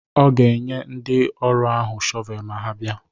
Ọ ga-enye ndị ọrụ ahụ shọvel ma ha bịa.